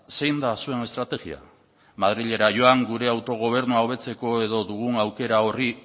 zein da zuen estrategia madrilera joan gure autogobernua hobetzeko edo dugu aukera horri